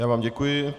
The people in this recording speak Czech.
Já vám děkuji.